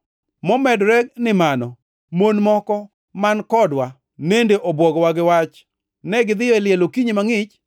Momedore ni mano, mon moko man kodwa nende obwogowa gi wach. Negidhiyo e liel okinyi mangʼich